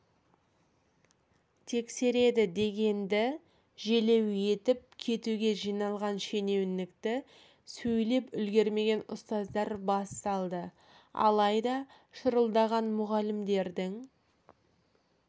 тексереді дегенді желеу етіп кетуге жиналған шенеунікті сөйлеп үлгермеген ұстаздар бас салды алайда шырылдаған мұғалімдердің